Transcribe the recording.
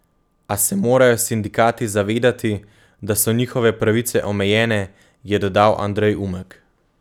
A se morajo sindikati zavedati, da so njihove pravice omejene, je dodal Andrej Umek.